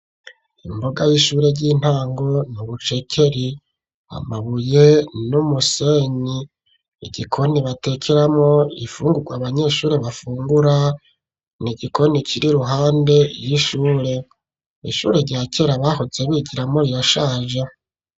Imbuga y'ishure ry'intango urucekeri amabuye n'umusenyi igikoni batekeramo ifungurwa abanyeshuri bafungura n'igikoni kiri iruhande y'ishure ishure rya kera bahoze bigiramwo riyashaje